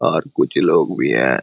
और कुछ लोग भी है।